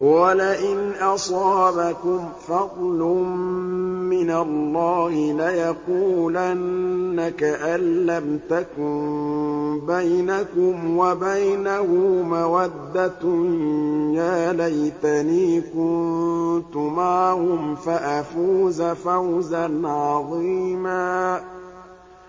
وَلَئِنْ أَصَابَكُمْ فَضْلٌ مِّنَ اللَّهِ لَيَقُولَنَّ كَأَن لَّمْ تَكُن بَيْنَكُمْ وَبَيْنَهُ مَوَدَّةٌ يَا لَيْتَنِي كُنتُ مَعَهُمْ فَأَفُوزَ فَوْزًا عَظِيمًا